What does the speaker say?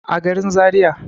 a garin zariya